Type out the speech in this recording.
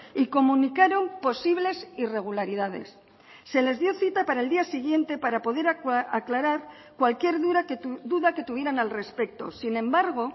y comunicaron posibles irregularidades se les dio cita para el día siguiente para poder aclarar cualquier duda que tuvieran al respecto sin embargo